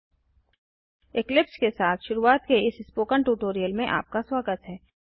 eclipse के साथ शुरूआत के इस स्पोकन ट्यूटोरियल में आपका स्वागत हैं